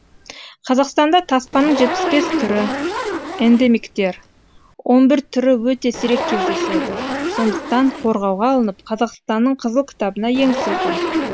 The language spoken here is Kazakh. қазақстанда таспаның жетпіс бес түрі эндемиктер он бір түрі өте сирек кездеседі сондықтан қорғауға алынып қазақстанның қызыл кітабына енгізілген